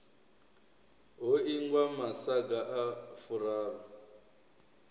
ho ingwa masaga a furaru